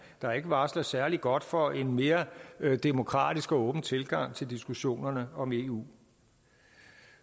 der ikke varsler særlig godt for en mere demokratisk og åben tilgang til diskussionerne om eu